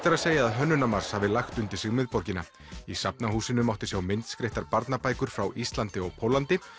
er að segja að Hönnunarmars hafi lagt undir sig miðborgina í Safnahúsinu mátti sjá myndskreyttar barnabækur frá Íslandi og Póllandi